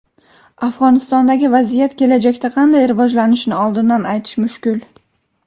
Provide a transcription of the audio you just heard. Afg‘onistondagi vaziyat kelajakda qanday rivojlanishini oldindan aytish mushkul.